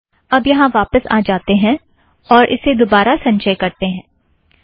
अब यहाँ वापस आ जातें हैं और इसे दोबारा संचय करतें हैं